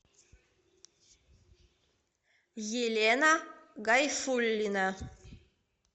елена гайфуллина